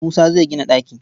Musa zai gina ɗaki.